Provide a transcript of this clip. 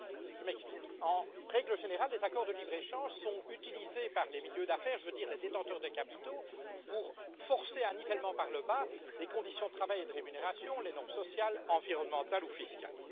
Je m'explique en règle générale, les accords de libre échange sont utilisés par les milieux d'affaires, je veux dire les détenteurs de capitaux, pour forcer un nivellement par le bas des conditions de travail et de rémunération, des normes sociales, environnementales ou fiscales.